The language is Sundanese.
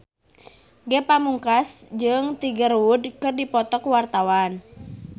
Ge Pamungkas jeung Tiger Wood keur dipoto ku wartawan